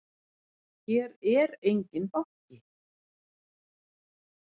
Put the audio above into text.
Hér er enginn banki!